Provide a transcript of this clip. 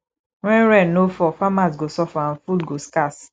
when rain no fall farmers go suffer and food go scarce